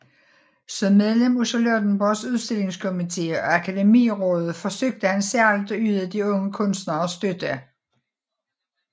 Som medlem af Charlottenborgs Udstillingskomite og Akademirådet forsøgte han særligt at yde de unge kunstnere støtte